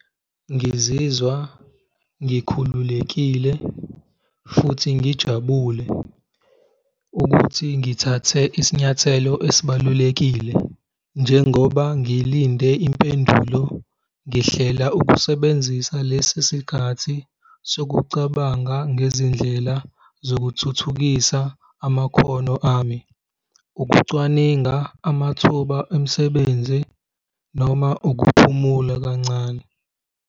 Ngizizwa ngikhululekile futhi ngijabule ukuthi ngithathe isinyathelo esibalulekile, njengoba ngilinde impendulo ngihlela ukusebenzisa lesi sikhathi sokucabanga ngezindlela zokuthuthukisa amakhono ami, ukucwaninga amathuba emisebenzi noma ukuphumula kancane.